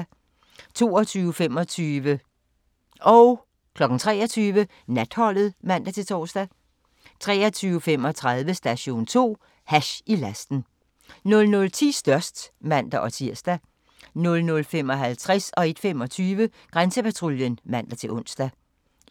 22:25: Natholdet (man-tor) 23:00: Natholdet (man-tor) 23:35: Station 2: Hash i lasten 00:10: Størst (man-tir) 00:55: Grænsepatruljen (man-ons) 01:25: Grænsepatruljen (man-ons)